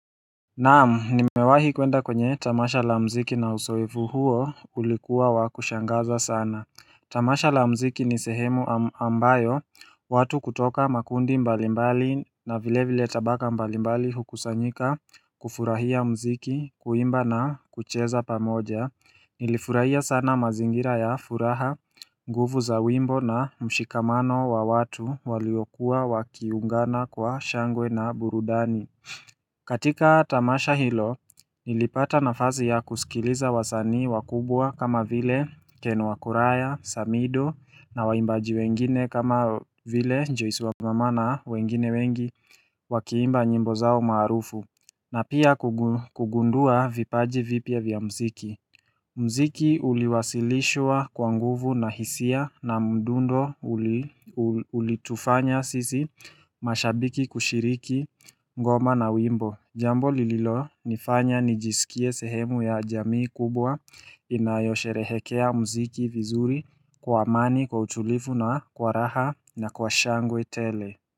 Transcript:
Naamu nimewahi kwenda kwenye tamasha la mziki na uzoefu huo ulikuwa wakushangaza sana Tamasha la mziki ni sehemu ambayo watu kutoka makundi mbalimbali na vile vile tabaka mbalimbali hukusanyika kufurahia mziki kuimba na kucheza pamoja Nilifurahia sana mazingira ya furaha nguvu za wimbo na mshikamano wa watu waliokuwa wakiungana kwa shangwe na burudani katika tamasha hilo, nilipata na fazi ya kusikiliza wasani wakubwa kama vile kenu wakuraya, samido na waimbaji wengine kama vile njoiswa mamana wengine wengi wakiimba nyimbo zao marufu na pia kugundua vipaji vipia vya mziki mziki uliwasilishwa kwa nguvu na hisia na mdundo ulitufanya sisi mashabiki kushiriki ngoma na wimbo. Jambo lililo nifanya nijisikie sehemu ya jamii kubwa inayosherehekea mziki vizuri kwa amani kwa utulivu na kwa raha na kwa shangwe tele.